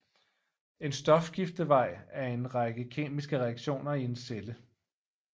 En stofskiftevej er en række kemiske reaktioner i en celle